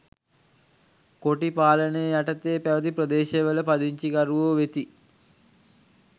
කොටි පාලනය යටතේ පැවැති ප්‍රදේශවල පදිංචිකරුවෝ වෙති.